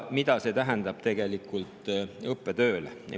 Mida see tähendab õppetööle?